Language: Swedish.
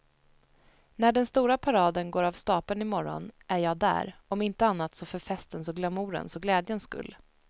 När den stora paraden går av stapeln i morgon är jag där, om inte annat så för festens och glamourens och glädjens skull.